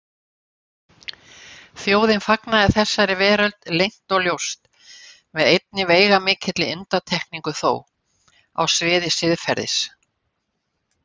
Þjóðin fagnaði þessari veröld leynt og ljóst, með einni veigamikilli undantekningu þó: á sviði siðferðis.